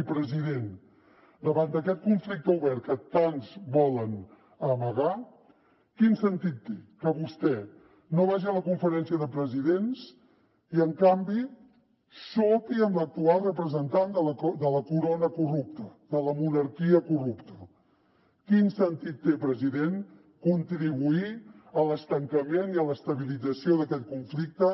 i president davant d’aquest conflicte obert que tants volen amagar quin sentit té que vostè no vagi a la conferència de presidents i en canvi sopi amb l’actual representant de la corona corrupta de la monarquia corrupta quin sentit té president contribuir a l’estancament i a l’estabilització d’aquest conflicte